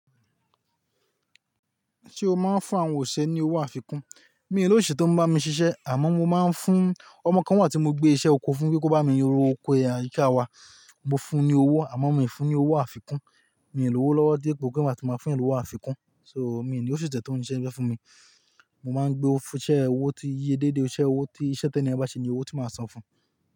Ṣé o máa ń fún àwọn òṣìṣẹ́ ní owó àfikún? Mi ò ní òṣìṣẹ́ tó ń bá mi ṣiṣẹ́ àmọ́ mo máa ń fún ọmọ kan wà tí mo gbé iṣẹ́ oko fún kí ó bá mi ro oko àyíká wa. Mo fún un ní owó àmọ́ mi ò fún un ní owó àfikún. Mi ò ní owó lọ́wọ́ dé pò pé máa tún máa fún yànní àfikún. So mi ò ní òṣìṣẹ́ tó ń ṣiṣẹ́ fún mi. Mo máa ń gbé ọ́ fún iṣẹ́ owó tí iye déédé, iṣẹ́ owó tí iṣẹ́ tí ẹni bá ṣe ní owó tí màá san fún un.